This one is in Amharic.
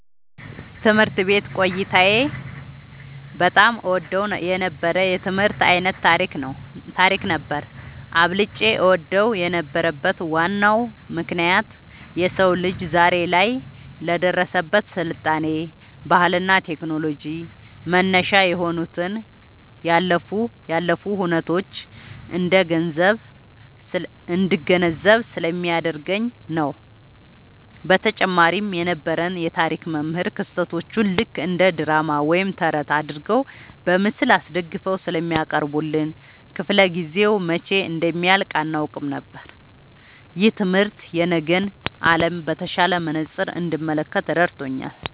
ትምህርት ቤት ቆይታዬ በጣም እወደው የነበረው የትምህርት ዓይነት ታሪክ ነበር። አብልጬ እወደው የነበረበት ዋናው ምክንያት የሰው ልጅ ዛሬ ላይ ለደረሰበት ስልጣኔ፣ ባህልና ቴክኖሎጂ መነሻ የሆኑትን ያለፉ ሁነቶች እንድገነዘብ ስለሚያደርገኝ ነው። በተጨማሪም የነበረን የታሪክ መምህር ክስተቶቹን ልክ እንደ ድራማ ወይም ተረት አድርገው በምስል አስደግፈው ስለሚያቀርቡልን፣ ክፍለ-ጊዜው መቼ እንደሚያልቅ አናውቅም ነበር። ይህ ትምህርት የነገን ዓለም በተሻለ መነጽር እንድመለከት ረድቶኛል።"